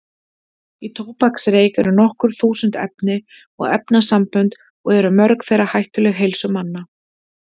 Í tóbaksreyk eru nokkur þúsund efni og efnasambönd og eru mörg þeirra hættuleg heilsu manna.